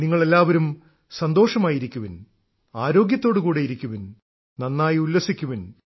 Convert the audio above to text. നിങ്ങളെല്ലാവരും സന്തോഷമായിരിക്കുവിൻ ആരോഗ്യത്തോടെയിരിക്കുവിൻ നന്നായി ഉല്ലസിക്കുവിൻ